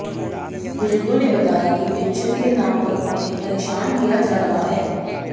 बुजुर्गों ने बताया कि पेंशन के नाम पर उन्हें परेशान किया जा रहा है